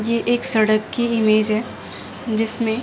ये एक सड़क की इमेज है जिसमें--